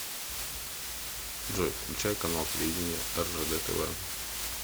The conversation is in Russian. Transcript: джой включай канал телевидения ржд тв